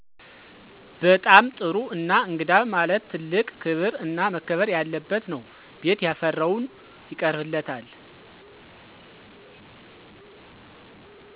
በጣም ጥሩ እና እንግዳ ማለት ትልቅ ክብር እና መከበር ያለበት ነው ቤት ያፈራውን ይቀርብለታል።